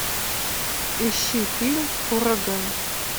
ищи фильм ураган